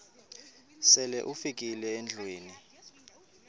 sele ufikile endlwini